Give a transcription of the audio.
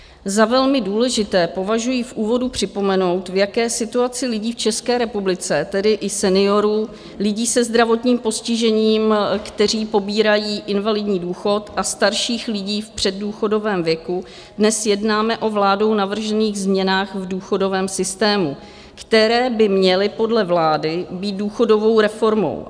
Za velmi důležité považuji v úvodu připomenout, v jaké situaci lidí v České republice, tedy i seniorů, lidí se zdravotním postižením, kteří pobírají invalidní důchod, a starších lidí v předdůchodovém věku, dnes jednáme o vládou navržených změnách v důchodovém systému, které by měly podle vlády být důchodovou reformou.